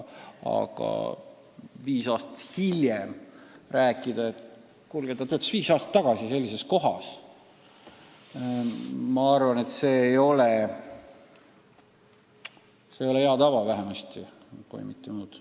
Aga viis aastat hiljem rääkida, et kuulge, ta töötas viis aastat tagasi sellises kohas – ma arvan, et see ei ole vähemasti hea tava, kui mitte muud.